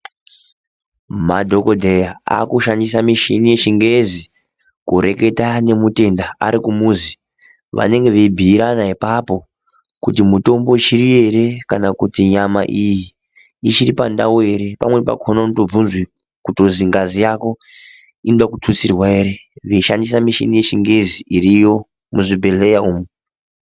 Madhogodheya akushandisa michini yechingezi, kureketa nemutenda arikumuzi. Vanenge veibhiirana ipapo kuti mitombo ichiripo ere kana kuti nyama iyi, ichiri pandau ere. Pamweni pakhona unotobvunzwe kutozwi ngazi yako inoda kututsirwa here veishandisa michini yechingezi iriyo muzvibhedhlera umu.